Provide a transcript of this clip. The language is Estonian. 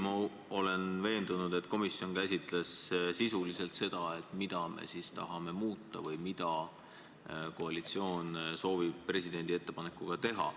Ma olen veendunud, et komisjon käsitles sisuliselt ka seda, mida me tahame muuta või mida koalitsioon soovib presidendi ettepanekuga teha.